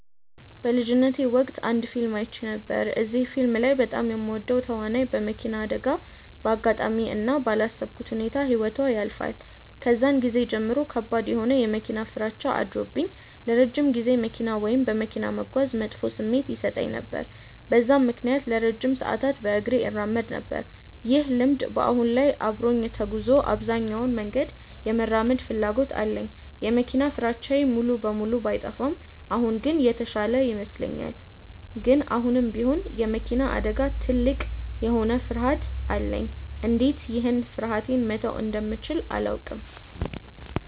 በልጅነቴ ወቅት አንድ ፊልም አይቼ ነበር። እዚህ ፊልም ላይ በጣም የምወዳት ተዋናይ በመኪና አደጋ በአጋጣሚ እና ባላሰብኩት ሁኔታ ህይወቷ ያልፋል። ከዛን ጊዜ ጀምሮ ከባድ የሆነ የመኪና ፍራቻ አድሮብኝ ለረጅም ጊዜ መኪና ወይም በመኪና መጓዝ መጥፎ ስሜት ይሰጠኝ ነበር። በዛም ምክንያት ለረጅም ሰዓታት በእግሬ እራመድ ነበር። ይህ ልምድ በአሁን ላይ አብሮኝ ተጉዞ አብዛኛውን መንገድ የመራመድ ፍላጎት አለኝ። የመኪና ፍራቻዬ ሙሉ በሙሉ ባይጠፋም አሁን ግን የተሻለ ይመስለኛል። ግን አሁንም ቢሆን የመኪና አደጋ ትልቅ የሆነ ፍርሀት አለኝ። እንዴት ይህን ፍርሀቴ መተው እንደምችል አላውቅም።